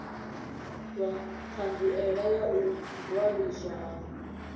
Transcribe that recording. ṱhanziela ya u ṅwaliswa ha